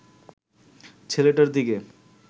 ছেলেটার দিকে